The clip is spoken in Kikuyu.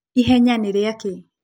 Ihenya nĩrĩakĩ?